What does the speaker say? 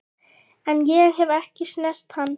En ég hef ekki snert hann.